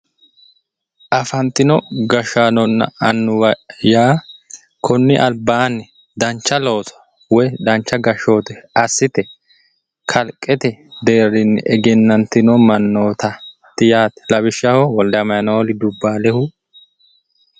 Afantino gashaanonna annuwa yaa konni albaanni dancha looso woyi dancha gashoote assite kalqete deerrinni egennantino mannootaati yaate lawishaho wolde amanueeli dubbaalehu